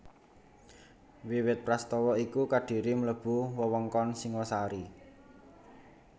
Wiwit prastawa iku Kadiri mlebu wewengkon Singhasari